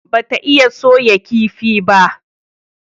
Ba ta iya soya kifi ba?